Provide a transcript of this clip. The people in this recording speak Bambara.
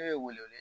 Ne ye wele wele